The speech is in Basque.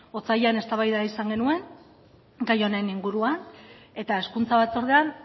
otsailean eztabaida izan genuen gai honen inguruan eta hezkuntza batzordean